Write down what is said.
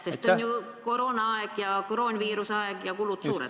Sest on ju koroonaaeg, koroonaviiruse aeg, ja kulud suured.